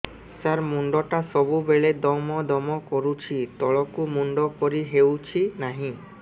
ସାର ମୁଣ୍ଡ ଟା ସବୁ ବେଳେ ଦମ ଦମ କରୁଛି ତଳକୁ ମୁଣ୍ଡ କରି ହେଉଛି ନାହିଁ